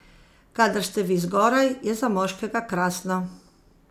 Kadar ste vi zgoraj, je za moškega krasno.